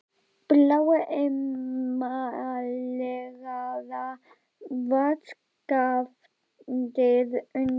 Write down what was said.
Bláa emaleraða vaskafatið undir lekann í horninu við gluggann.